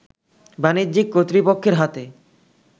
বাণিজ্যিক কর্তৃপক্ষের হাতে